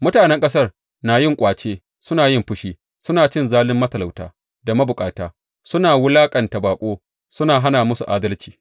Mutanen ƙasar na yin ƙwace suna yin fashi; suna cin zalin matalauta da mabukata suna wulaƙanta baƙo suna hana musu adalci.